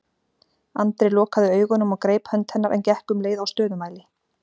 Andri lokaði augunum og greip hönd hennar en gekk um leið á stöðumæli.